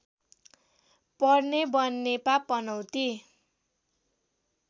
पर्ने बनेपा पनौती